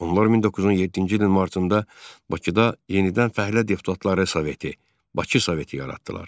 Onlar 1907-ci ilin martında Bakıda yenidən Fəhlə Deputatları Soveti, Bakı Soveti yaratdılar.